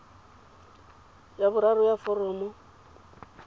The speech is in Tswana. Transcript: ya boraro ya foromo ya